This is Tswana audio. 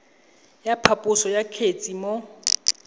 ya phaposo ya kgetse mo